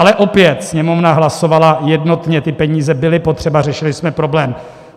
Ale opět: Sněmovna hlasovala jednotně, ty peníze byly potřeba, řešili jsme problém.